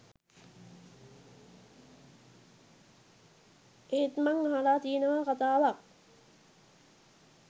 එත් මං අහල තියනවා කතාවක්